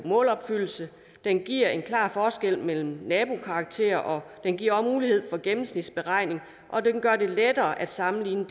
målopfyldelse den giver en klar forskel mellem nabokarakterer den giver mulighed for en gennemsnitsberegning og den gør det lettere at sammenligne